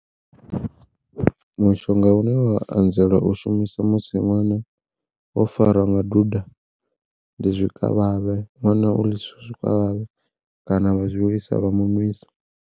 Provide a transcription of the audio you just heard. Mushonga une wa anzela u shumiswa musi ṅwana o farwa nga duda ndi zwikavhavhe ṅwana u ḽisiwa zwikavhavhe kana vha zwi vhilisa vha mu nwisa.